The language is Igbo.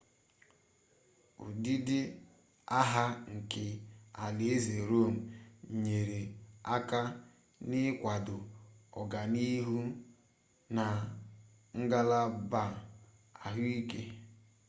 ụdịdị agha nke alaeze rome nyere aka n'ịkwado ọganihu na ngalaba ahụike